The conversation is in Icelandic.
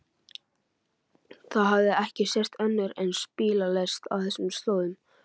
Það hafði ekki sést önnur eins bílalest á þessum slóðum.